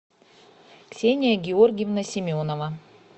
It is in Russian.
ксения георгиевна семенова